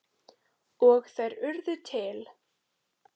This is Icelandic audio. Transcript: Og þær urðu til.